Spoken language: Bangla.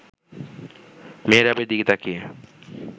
মেহরাবের দিকে তাকিয়ে